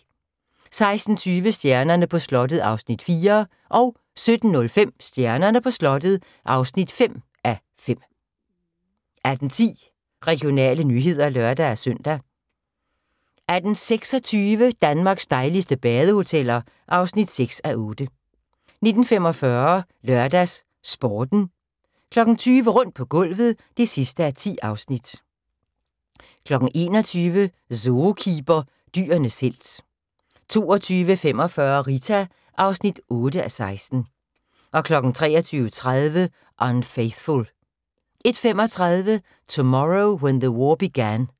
16:20: Stjernerne på slottet (4:5) 17:05: Stjernerne på slottet (5:5) 18:10: Regionale nyheder (lør-søn) 18:26: Danmarks dejligste badehoteller (6:8) 19:45: LørdagsSporten 20:00: Rundt på gulvet (10:10) 21:00: Zookeeper – Dyrenes helt 22:45: Rita (8:16) 23:30: Unfaithful 01:35: Tomorrow When the War Began